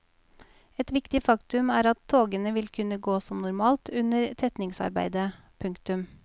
Et viktig faktum er at togene vil kunne gå som normalt under tetningsarbeidet. punktum